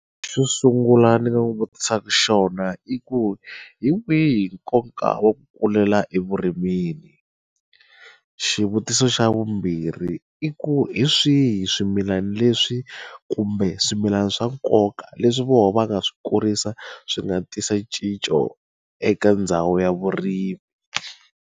Xo sungula ndzi nga n'wi vutisaka xona i ku hi wihi nkoka wa ku kulela evurimini xivutiso xa vumbirhi i ku hi swihi swimilana leswi kumbe swimilana swa nkoka leswi voho va nga swi kurisa swi nga tisa cinco eka ndhawu ya vurimi.